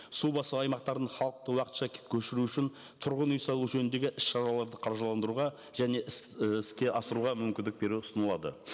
су басу аймақтарын халықты уақытша көшіру үшін тұрғын үй салу жөніндегі іс шараларды қаржыландыруға және і іске асыруға мүмкіндік беру ұсынылады